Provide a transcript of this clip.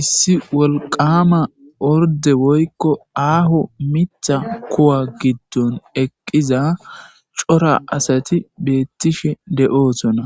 issi wolqama orde woykko aaho mitha kuwa giddon eqqiza cora asati beettishe de7oosona